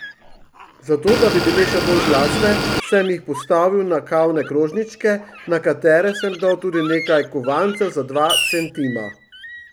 Zato, da bi bile še bolj glasne, sem jih postavil na kavne krožničke, na katere sem dal tudi nekaj kovancev za dva centima.